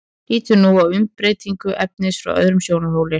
lítum nú á umbreytingu efnisins frá öðrum sjónarhóli